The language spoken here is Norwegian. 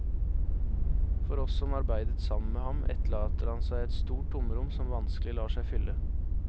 For oss som arbeidet sammen med ham, etterlater han seg et stort tomrom som vanskelig lar seg fylle.